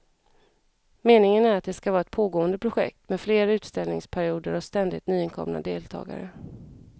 Meningen är att det ska vara ett pågående projekt med fler utställningsperioder och ständigt nytillkomna deltagare.